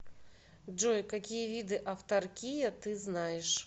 джой какие виды автаркия ты знаешь